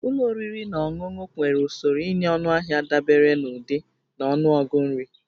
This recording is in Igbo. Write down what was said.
Ụlọ oriri na ọṅụṅụ nwere usoro ịnye ọnụahịa dabere n'ụdị na ọnụọgụ nri